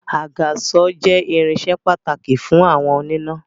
Àgàsọ̀ jẹ irinsẹ́ pàtàkì fún àwọn oníná